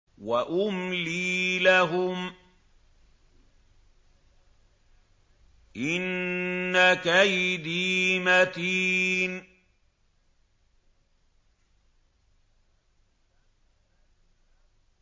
وَأُمْلِي لَهُمْ ۚ إِنَّ كَيْدِي مَتِينٌ